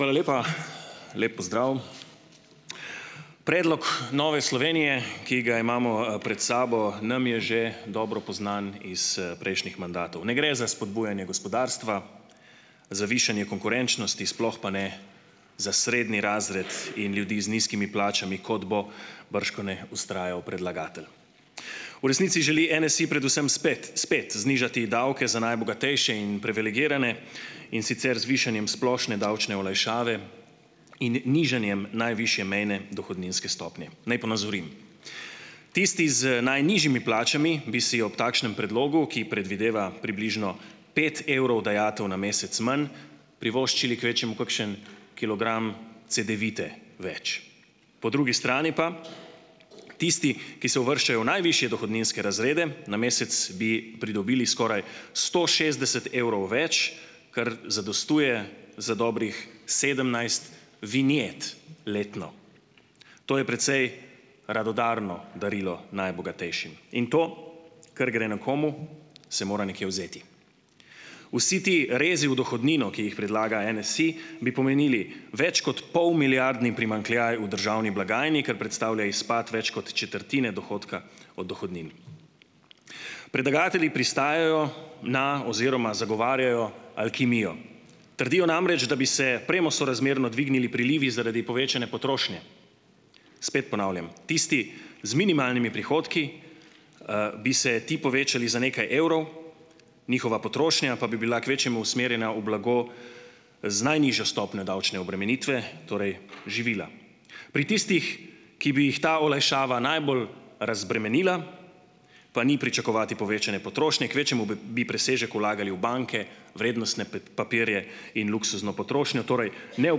Hvala lepa. Lep pozdrav. Predlog Nove Slovenije, ki ga imamo, pred sabo, nam je že dobro poznan iz, prejšnjih mandatov. Ne gre za spodbujanje gospodarstva, za višanje konkurenčnosti, sploh pa ne za srednji razred in ljudi z nizkimi plačami kot bo bržkone vztrajal predlagatelj. V resnici želi Nsi predvsem spet, spet znižati davke za najbogatejše in privilegirane, in sicer z višanjem splošne davčne olajšave in nižanjem najvišje mejne dohodninske stopnje. Naj ponazorim. Tisti z najnižjimi plačami bi si ob takšnem predlogu, ki predvideva približno pet evrov dajatev na mesec manj, privoščili kvečjemu kakšen kilogram cedevite več. Po drugi strani pa tisti, ki se uvrščajo v najvišje dohodninske razrede, na mesec bi pridobili skoraj sto šestdeset evrov več, kar zadostuje za dobrih sedemnajst vinjet letno. To je precej radodarno darilo najbogatejšim in to, kar gre nekomu, se mora nekje vzeti. Vsi ti rezi v dohodnino, ki jih predlaga NSi, bi pomenili več kot polmilijardni primanjkljaj v državni blagajni, kar predstavlja izpad več kot četrtine dohodka od dohodnine. Predlagatelji pristajajo na oziroma zagovarjajo alkimijo. Trdijo namreč, da bi se premo sorazmerno dvignili prilivi zaradi povečane potrošnje, spet ponavljam, tisti z minimalnimi prihodki, bi se ti povečali za nekaj evrov, njihova potrošnja pa bi bila kvečjemu usmerjena v blago z najnižjo stopnjo davčne obremenitve, torej živila. Pri tistih, ki bi jih ta olajšava najbolj razbremenila, pa ni pričakovati povečane potrošnje, kvečjemu b, bi presežek vlagali v banke, vrednostne papirje in luksuzno potrošnjo, torej ne v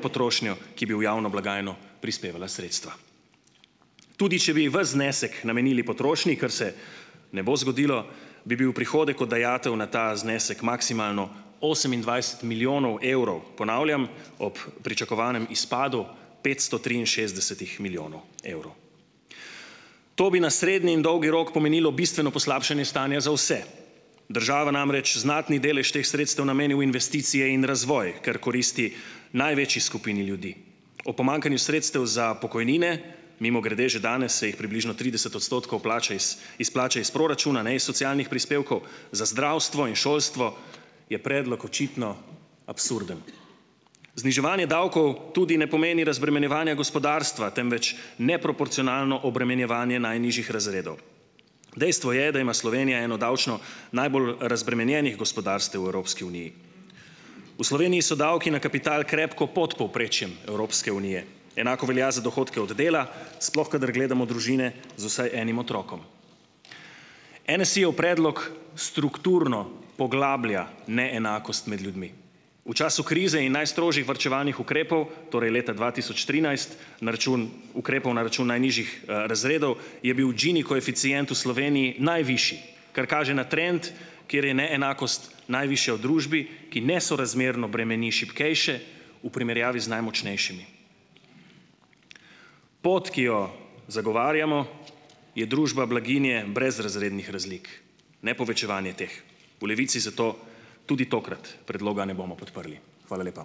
potrošnjo, ki bi v javno blagajno prispevala sredstva. Tudi če bi vas znesek namenili potrošnji, kar se ne bo zgodilo, bi bil prihodek od dajatev na ta znesek maksimalno osemindvajset milijonov evrov, ponavljam, ob pričakovanem izpadu petsto triinšestdesetih milijonov evrov. To bi na srednji in dolgi rok pomenilo bistveno poslabšanje stanja za vse. Država namreč znatni delež teh sredstev nameni v investicije in razvoj, ker koristi največji skupini ljudi. Ob pomanjkanju sredstev za pokojnine, mimogrede že danes se jih približno trideset odstotkov plača iz, izplača iz proračuna, ne iz socialnih prispevkov, za zdravstvo in šolstvo je predlog očitno absurden. Zniževanje davkov tudi ne pomeni razbremenjevanja gospodarstva, temveč neproporcionalno obremenjevanje najnižjih razredov. Dejstvo je, da ima Slovenija eno davčno najbolj razbremenjenih gospodarstev v Evropski uniji. V Sloveniji so davki na kapital krepko pod povprečjem Evropske unije, enako velja za dohodke od dela, sploh kadar gledamo družine z vsaj enim otrokom. NSi-jev predlog strukturno poglablja neenakost med ljudmi. V času krize in najstrožjih varčevalnih ukrepov, torej leta dva tisoč trinajst, na račun ukrepov, na račun najnižjih, razredov je bil Ginijev koeficient v Sloveniji najvišji, kar kaže na trend, kjer je neenakost najvišja v družbi, ki nesorazmerno bremeni šibkejše v primerjavi z najmočnejšimi. Pot, ki jo zagovarjamo, je družba blaginje brez razrednih razlik, ne povečevanje teh. V Levici zato tudi tokrat predloga ne bomo podprli. Hvala lepa.